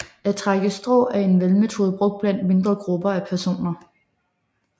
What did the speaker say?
At trække strå er en valgmetode brugt blandt mindre grupper af personer